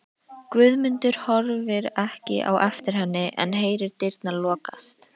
Guðmundur horfir ekki á eftir henni en heyrir dyrnar lokast.